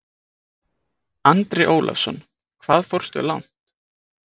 Andri Ólafsson: Hvað fórstu langt?